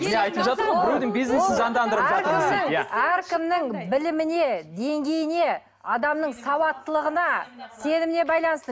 әркімнің біліміне деңгейіне адамның сауаттылығына сеніміне байланысты